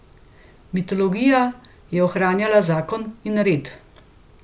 Mitologija je ohranjala zakon in red.